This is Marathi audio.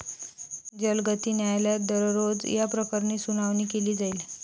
जलगती न्यायालयात दररोज याप्रकरणी सुनावणी केली जाईल.